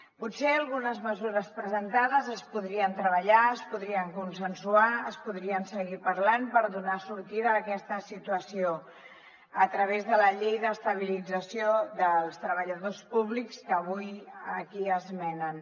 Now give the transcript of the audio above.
potser algunes mesures presentades es podrien treballar es podrien consensuar es podrien seguir parlant per donar sortida a aquesta situació a través de la llei d’estabilització dels treballadors públics que avui aquí esmenen